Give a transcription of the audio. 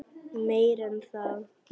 Meira en það.